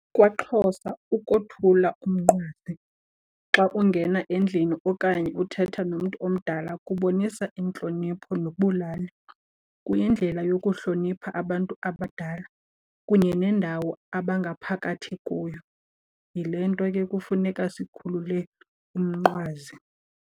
KwaXhosa ukothula umnqwazi xa ungena endlini okanye uthetha nomntu omdala kubonisa intlonipho nobulali. Kuyindlela yokuhlonipha abantu abadala kunye nendawo abangaphakathi kuyo. Yile nto ke kufuneka sikhululeke umnqwazi.